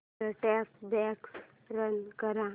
set top box run कर